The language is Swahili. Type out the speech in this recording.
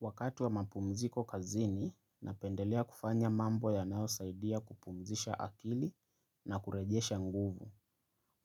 Wakati wa mapumziko kazini, napendelea kufanya mambo yanao saidia kupumzisha akili na kurejesha nguvu.